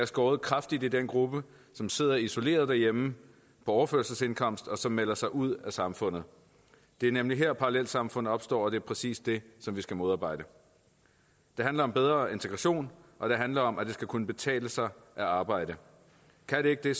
skåret kraftigt i den gruppe som sidder isoleret derhjemme på overførselsindkomst og som melder sig ud af samfundet det er nemlig her parallelsamfund opstår og det er præcis det vi skal modarbejde det handler om bedre integration og det handler om at det skal kunne betale sig at arbejde kan det ikke det